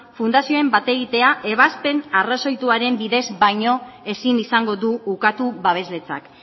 fundazioen bategitea ebazpen arrazoituaren bidez baino ezin izango du ukatu babesletzak